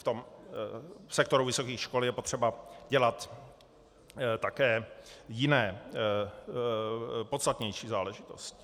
V sektoru vysokých škol je potřeba dělat také jiné, podstatnější záležitosti.